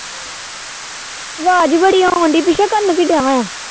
ਅਵਾਜ ਬੜੀ ਓਣਡੀ ਪਿਛੇ ਕਰਨ ਕੀ ਡਿਆ